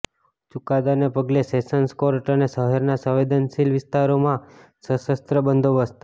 ચુકાદાને પગલે sessions court અને શહેરના સંવેદનશીલ વિસ્તારોમાં સશસ્ત્ર બંદોબસ્ત